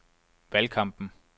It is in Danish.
valgkampen